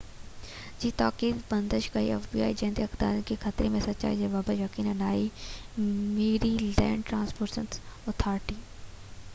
جڏهن ته اختيارين کي خطري جي سچائي جي بابت يقين ناهي Maryland transportation authority fbi جي تاڪيد تي بندش ڪئي